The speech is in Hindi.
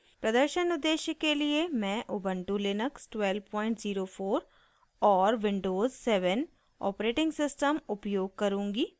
प्रदर्शन उद्देश्य के लिए मैं उबन्टु लिनक्स 1204 और विंडोज़ 7 ऑपरेटिंग सिस्टम उपयोग करुँगी